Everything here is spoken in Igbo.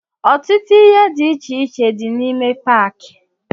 Ọtụtụ ihe dị iche iche dị n'ime paaki.